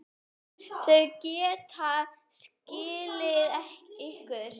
Þau geta skilið ykkur.